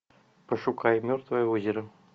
пошукай мертвое озеро